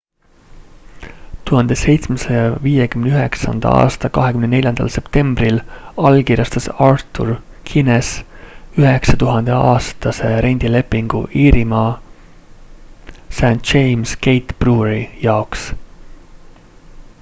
1759 aasta 24 septembril allkirjastas arthur guinness 9000-aastase rendilepingu iirima st james' gate brewery jaoks